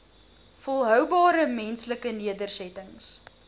volhoubare menslike nedersettings